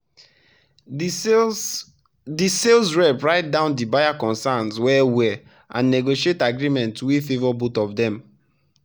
the sales the sales rep write down the buyer concerns well-well and negotiate agreement wey favour both of them.